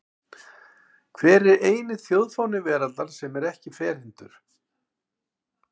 Hver er eini þjóðfáni veraldar sem er ekki ferhyrndur?